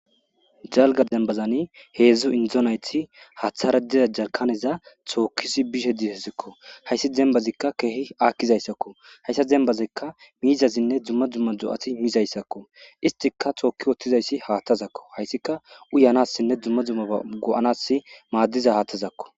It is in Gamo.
Jalga dembazani heedzdzu indzonayti haathara diza jarkaneza tookkisi bishe dihezikko hayssi dembazikka keehi aakkizayssakko hayssa dembazikka miizazinne dumma dumma do7ati miizayssakko istika tookki wottizayssi haattazakko hayssika uyanassinne dumma dumma go7anas maaddiza haattazakko.